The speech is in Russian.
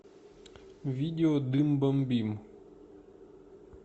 видео дым бомбим